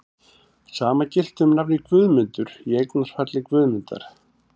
Sama gilti um nafnið Guðmundur, í eignarfalli Guðmundar.